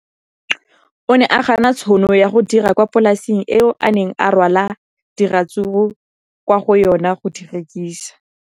O ne a gana tšhono ya go dira kwa polaseng eo a neng rwala diratsuru kwa go yona go di rekisa.